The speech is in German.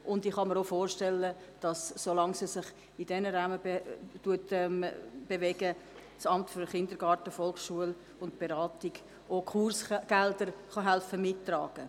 Schliesslich kann ich mir auch vorstellen, dass das Amt für Kindergarten, Volksschule und Beratung helfen kann, Kursgelder mitzutragen, solange sie sich in diesem Rahmen bewegen.